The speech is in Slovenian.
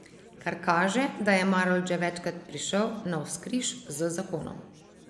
Kar kaže, da je Marolt že večkrat prišel navzkriž z zakonom.